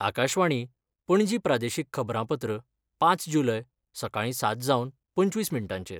आकाशवाणी, पणजी प्रादेशीक खबरांपत्र पांच जुलय, सकाळी सात जावन पंचवीस मिनटांचेर